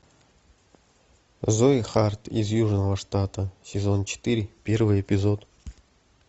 зои харт из южного штата сезон четыре первый эпизод